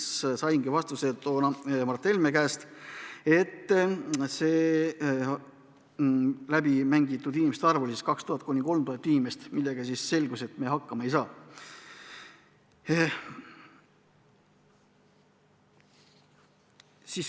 Siis saingi vastuse Mart Helme käest, et see arv oli 2000–3000 inimest, millega, nagu selgus, me hakkama ei saa.